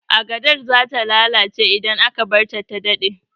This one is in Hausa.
Agadar zata lalace idan aka barta ta dade